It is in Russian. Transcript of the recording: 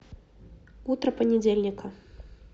утро понедельника